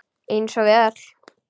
Eins og við öll.